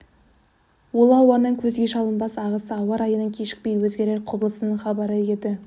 ол ауаның көзге шалынбас ағысы ауа райының кешікпей өзгерер құбылысының хабары еді